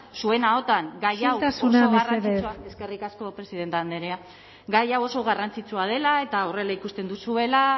zuen ahotan gai hau isiltasuna mesedez eskerrik asko presidenta andrea gai hau oso garrantzitsua dela eta horrela ikusten duzuela